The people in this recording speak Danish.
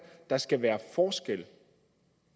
der skal være forskel